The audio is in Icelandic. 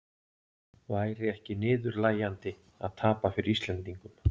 Væri ekki niðurlægjandi að tapa fyrir Íslendingum?